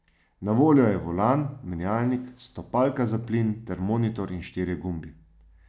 Na voljo je volan, menjalnik, stopalka za plin, ter monitor in štirje gumbi.